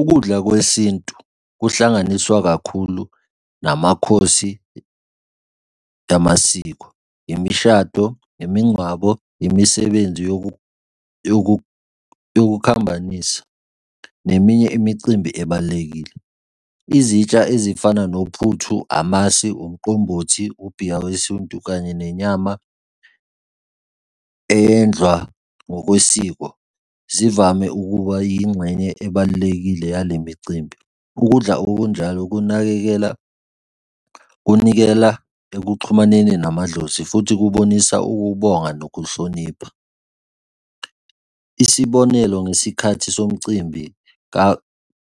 Ukudla kwesintu kuhlanganiswa kakhulu namakhosi amasiko, imishado, imingcwabo, imisebenzi yokukhambanisa, neminye imicimbi ebalulekile. Izitsha ezifana nophuthu, amasi, umqombothi, ubhiya wesintu kanye nenyama eyenzwa ngokwesiko, zivame ukuba yingxenye ebalulekile yale micimbi. Ukudla okunjalo, kunakekela kunikela ekuxhumaneni namadlozi, futhi kubonisa ukubonga nokuhlonipha. Isibonelo, ngesikhathi somcimbi